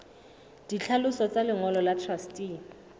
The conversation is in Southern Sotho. ditlhaloso tsa lengolo la truste